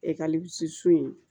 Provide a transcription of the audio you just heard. in